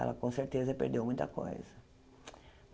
Ela, com certeza, perdeu muita coisa.